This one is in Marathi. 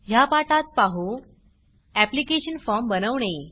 ह्या पाठात पाहू ऍप्लिकेशन फॉर्म बनवणे